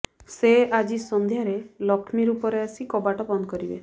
ସେ ଆଜି ସନ୍ଧ୍ୟାରେ ଲକ୍ଷ୍ମୀ ରୂପରେ ଆସି କବାଟ ବନ୍ଦ କରିବେ